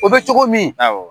O be cogo min